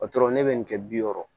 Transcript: ne bɛ nin kɛ bi wɔɔrɔ